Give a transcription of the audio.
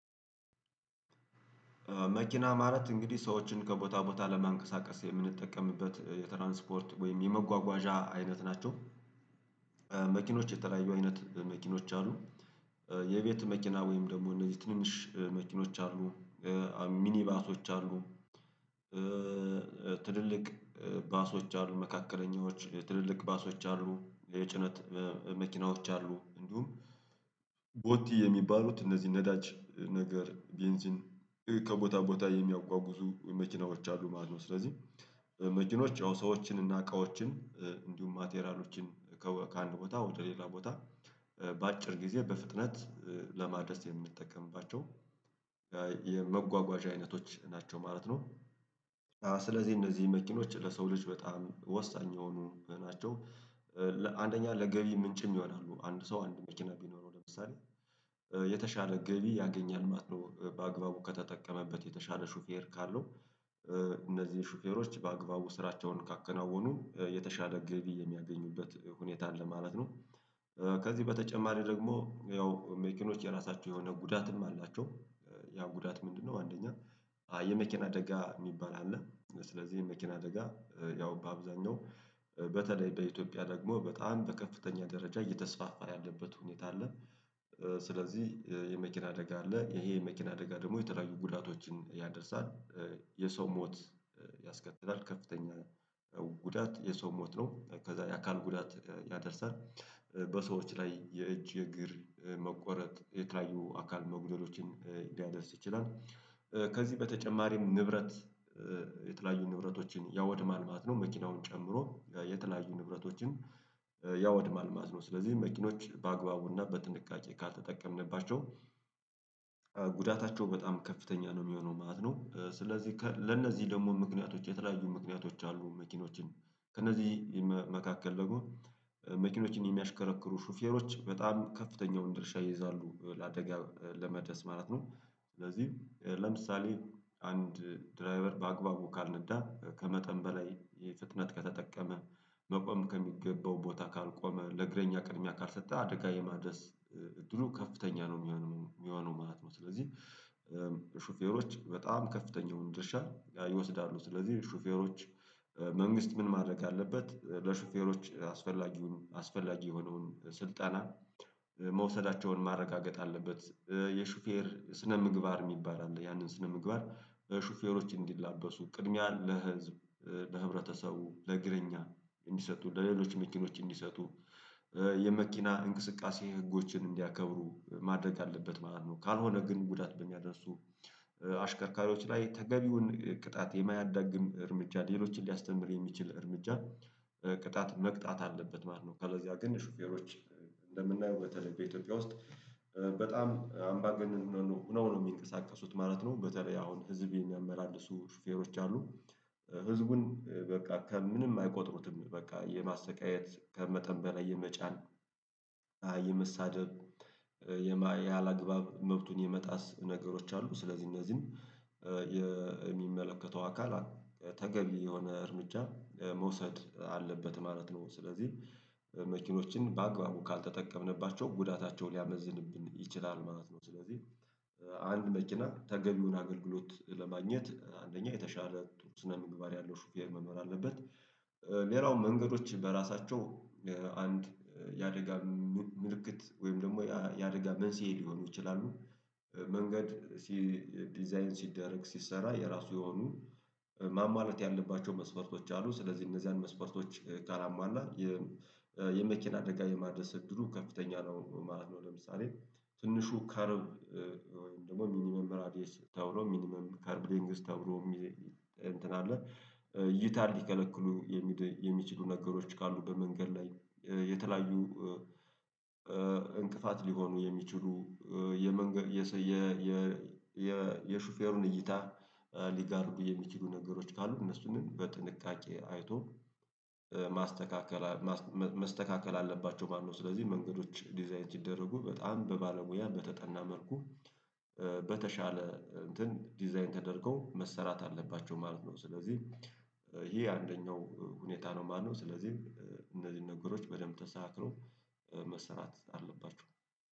መኪና ማለት እንግዲህ ሰዎችን ከቦታ ቦታ ለማንቀሳቀስ የምንጠቀምበት የትራንስፖርት ወይም የመጓጓዣ አይነት ናቸው። መኪኖች የተለያዩ አይነት መኪኖች አሉ። የቤት መኪና ወይም ደግሞ እነዚህ ትንንሽ መኪኖች አሉ። ሚኒባሶች አሉ። ትልልቅ ባሶች አሉ። መካከለኛዎች ትልልቅ ባሶች አሉ። የጭነት መኪናዎች አሉ። እንዲሁም ቦቲ የሚባሉት እነዚህ ነዳጅ ነገር ቤንዚን ከቦታ ቦታ የሚያጓጉዙ የመኪናዎች አሉ ማለት ነው። ስለዚህ መኪኖች ያው ሰዎችን እና እቃዎችን እንዲሁም ማቴራሎችን ከአንድ ቦታ ወደ ሌላ ቦታ በአጭር ጊዜ በፍጥነት ለማድረስ የምንጠቀምባቸው የመጓጓዣ አይነቶች ናቸው ማለት ነው። ስለዚህ እንደዚህ መኪኖች ለሰው ልጅ በጣም ወሳኝ የሆኑ ናቸው። አንደኛ ለገቢ ምንጭም ይሆናሉ አንድ ሰው አንድ መኪና ቢኖረው ለምሳሌ የተሻለ ገቢ ያገኛል ማለት ነው። በአግባቡ ከተጠቀመበት የተሻለ ሹፌር ካለው እነዚህን ሹፌሮች በአግባቡ ስራቸውን ካከናወኑ የተሻለ ገቢ የሚያገኝበት ሁኔታ አለ ማለት ነው። ከዚህ በተጨማሪ ደግሞ ያው መኪኖች የራሳቸው የሆነ ጉዳትም አላቸው። ያ ጉዳት ምንድነው? አንደኛ የመኪና አደጋ የሚባል አለ ስለዚህ የመኪና አደጋ ያው በአብዛኛው በተለይ በኢትዮጵያ ደግሞ በጣም በከፍተኛ ደረጃ እየተስፋፋ ያለበት ሁኔታ አለ። ስለዚህ የመኪና አደጋ አለ ይሄ የመኪና አደጋ ደግሞ የተለያዩ ጉዳቶችን ያደርሳል። የሰው ሞት ያስከትላል። ከፍተኛ ጉዳት የሰው ሞት ነው ከዛ የአካል ጉዳት ያደርሰናል። በሰዎች ላይ የእጅ የእግር መቆረጥ የተለያዩ አካል መጉደሎችን ሊያደርስ ይችላል። ከዚህ በተጨማሪም ንብረት የተለያዩ ንብረቶችን ያወድማል ማለት ነው። መኪናውን ጨምሮ የተለያዩ ንብረቶችን ያወድማል ማለት ነው። ስለዚህ መኪኖች በአግባቡና በጥንቃቄ ካልተጠቀምንባቸው ጉዳታቸው በጣም ከፍተኛ ነው የሚሆነው ማለት ነው። ስለዚህ ለእነዚህ ደግሞ ምክንያቶች የተለያዩ ምክንያቶች አሉ መኪኖችን። ከነዚህ መካከል ደግሞ መኪኖችን የሚያሽከረክሩ ሹፌሮች በጣም ከፍተኛውን ድርሻ ይይዛሉ ለአደጋ ለመድረስ ማለት ነው። ስለዚህ ለምሳሌ አንድ ድራቨር በአግባቡ ካልነዳ ከመጠን በላይ ፍጥነት ከተጠቀመ መቆም ከሚገባው ቦታ ካልቆመ ለእግረኛ ቅድሚያ ካልሰጠ አደጋ የማድረስ እድሉ ከፍተኛ ነው የሚሆነው የሚሆነው ማለት ነው። ስለዚህ ሹፌሮች በጣም ከፍተኛ የሆኑ ድርሻ ይወስዳሉ ስለዚህ ሹፌሮች መንግስት ምን ማድረግ አለበት ለሹፌሮች አስፈላጊውን አስፈላጊ የሆነውን ስልጠና መውሰዳቸውን ማረጋገጥ አለበት። የሹፌር ስነ ምግባር የሚባል አለ ያንን ስነ ምግባር ሹፌሮች እንዲላበሱ ቅድሚያ ለህዝብ ለህብረተሰቡ ለእግረኛ እንዲሰጡ ለሌሎች መኪኖች እንዲሰጡ የመኪና እንቅስቃሴ ህጎችን እንዲያከብሩ ማድረግ አለበት ማለት ነው። ካልሆነ ግን ጉዳት በሚያደርሱ አሽከርካሪዎች ላይ ተገቢውን ቅጣት የማያዳግም እርምጃ ሌሎችን ሊያስተምር የሚችል እርምጃ ቅጣት መቅጣት አለበት ማለት ነው። ከለዛ ግን ሹፌሮች እንደምናየው በተለይ በኢትዮጵያ ውስጥ አምባገነን ሆነው ነው የሚንቀሳቀሱት ማለት ነው በተለይ አሁን ህዝብ የሚያመላልሱ ሹፌሮች አሉ። ህዝቡን በቃ ከምንም አይቆጥሩትም በቃ የማሰቃየት ከመጠን በላይ የመጫን የመሳደብ ያላግባብ መብቱን የመጣስ ነገሮች አሉ። ስለዚህ እነዚህን የሚመለከተው አካል ተገቢ የሆነ እርምጃ መውሰድ አለበት ማለት ነው። ስለዚህ መኪኖችን በአግባቡ ካልተጠቀምንባቸው ጉዳታቸው ሊያመዝንብን ይችላል ማለት ነው። ስለዚህ አንድ መኪና ተገቢውን አገልግሎት ለማግኘት አንደኛ የተሻለ ጥሩ ስነ ምግባር ያለው ሹፌር መኖር አለበት። ሌላው መንገዶች በራሳቸው አንድ የአደጋ ምልክት ወይም ደግሞ የአደጋ መንስኤ ሊሆኑ ይችላሉ። መንገድ ዲዛይን ሲደረግ ሲሰራ የራሱ የሆኑ ማሟላት ያለባቸው መስፈርቶች አሉ። ስለዚህ እነዚያን መስፈርቶች ካላሟላ የመኪና አደጋ የማድረስ እድሉ ከፍተኛ ነው ማለት ነው። ለምሳሌ ትንሹ ከርብ ወይም ደግሞ ሚኒመም ራዲየስ ተብሎ ሚኒመም ከርብ ሌንግዝ ተብሎ እንትን አለ። እይታን ሊከለክሉ የሚችሉ ነገሮች ካሉ በመንገድ ላይ የተለያዩ እንቅፋት ሊሆኑ የሚችሉ የመንገድ የሹፌሩን እይታ ሊጋርዱ የሚችሉ ነገሮች ካሉ እነሱን በጥንቃቄ አይቶ ማስተካከል መስተካከል አለባቸው ማለት ነው። ስለዚህ መንገዶች ዲዛይን ሲደረጉ በጣም በባለሙያ በተጠና መልኩ በተሻለ እንትን ዲዛይን ተደርገው መሰራት አለባቸው ማለት ነው። ስለዚህ ይሄ አንደኛው ሁኔታ ነው ማለትጰነው ስለዚህ እነዚህን ነገሮች በደንብ ተስተካክሎ መሰራት አለባቸው